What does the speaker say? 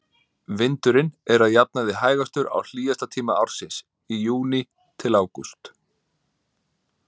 Vindurinn er að jafnaði hægastur á hlýjasta tíma ársins, í júní-ágúst.